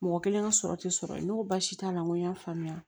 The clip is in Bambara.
Mɔgɔ kelen ka sɔrɔ tɛ sɔrɔ ye n ko baasi t'a la n ko n y'a faamuya